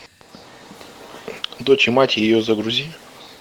дочь и мать ее загрузи